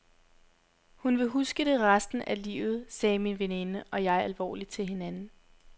Hun vil huske det resten af livet, sagde min veninde og jeg alvorligt til hinanden.